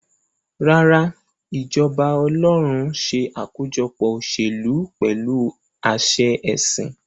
Rárá, ìjọba ọlọ́run ṣe àkójọpọ̀ òṣèlú pẹ̀lú àṣẹ ẹ̀sìn.